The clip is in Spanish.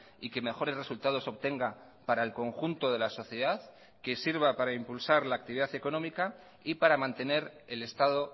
y que mejores resultados obtenga para el conjunto de la sociedad que sirva para impulsar la actividad económica y para mantener el estado